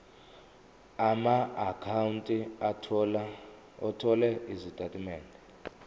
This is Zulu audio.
amaakhawunti othola izitatimende